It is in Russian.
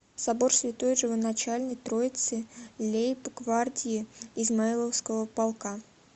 собор святой живоначальной троицы лейб гвардии измайловского полка